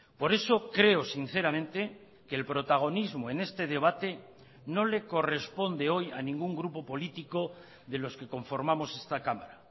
por eso creo sinceramente que el protagonismo en este debate no le corresponde hoy a ningún grupo político de los que conformamos esta cámara